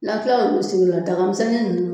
Lafiya sugulataga tanmisɛnnin ninnu